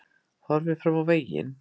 Horfið fram á veginn